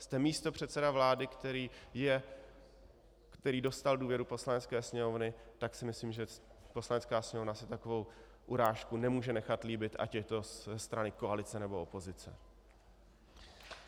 Jste místopředseda vlády, který dostal důvěru Poslanecké sněmovny, tak si myslím, že Poslanecká sněmovna si takovou urážku nemůže nechat líbit, ať je to ze strany koalice, nebo opozice.